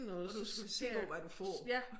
Og du skal være sikker på hvad du får